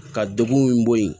Ka degun min bɔ yen